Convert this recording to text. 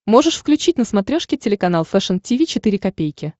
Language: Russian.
можешь включить на смотрешке телеканал фэшн ти ви четыре ка